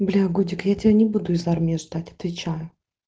бля годик я тебя не буду из армии ждать отвечаю